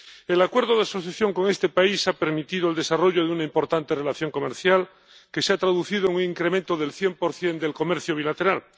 El Acuerdo de Asociación con este país ha permitido el desarrollo de una importante relación comercial que se ha traducido en un incremento del 100 del comercio bilateral.